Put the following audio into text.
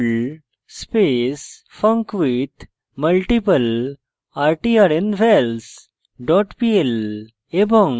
perl space funcwithmultiplertrnvals dot pl